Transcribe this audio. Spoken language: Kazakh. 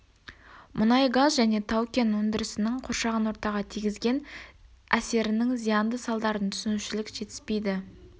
мұнайгаз және тау-кен өндірісінің қоршаған ортаға тигізген серінің зиянды салдарын түсінушілік жетіспейді